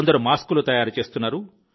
కొందరు మాస్కులు తయారు చేస్తున్నారు